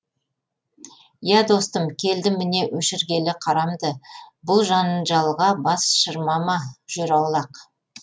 иә достым келдім міне өшіргелі қарамды бұл жанжалға бас шырмама жүр аулақ